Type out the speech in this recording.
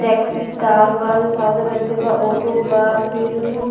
Taxi car बा जो सादा रंग के बा। ऑटो बा। फिर उ --